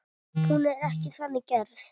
Hún er ekki þannig gerð.